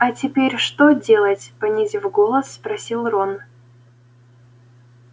а теперь что делать понизив голос спросил рон